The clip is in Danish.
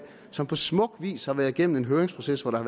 som på smuk vis har været igennem en høringsproces hvor der